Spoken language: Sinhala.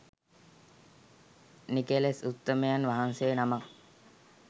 නිකෙලෙස් උත්තමයන් වහන්සේ නමක්